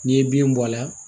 N'i ye bin bɔ a la